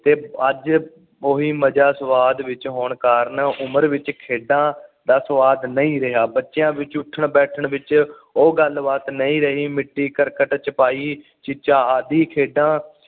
ਤੇ ਅੱਜ ਉਹੀ ਮਜਾ ਸੁਵਾਦ ਵਿੱਚ ਹੁਣ ਕਾਰਨ ਉਮਰ ਵਿੱਚ ਖੇਡਾਂ ਦਾ ਸੁਵਾਦ ਨਹੀਂ ਰਿਹਾ ਬੱਚਿਆਂ ਵਿੱਚ ਉਠਣ ਬੈਠਣ ਵਿਚ ਉਹ ਗੱਲ ਬਾਤ ਨਹੀਂ ਰਹੀ ਮਿਟੀ ਕਰਕਟ ਚ ਪਾਈ ਆਹੀ ਖੇਡਾਂ